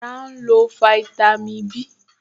Ará nílò fáítámì Bí